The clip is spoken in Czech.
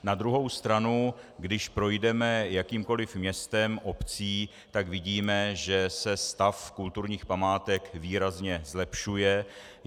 Na druhou stranu když projdeme jakýmkoli městem, obcí, tak vidíme, že se stav kulturních památek výrazně zlepšuje.